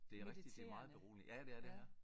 Mediterende ja